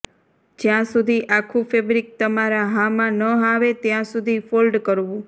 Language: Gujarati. જ્યાં સુધી આખું ફેબ્રિક તમારા હામાં ન આવે ત્યાં સુધી ફોલ્ડ કરવું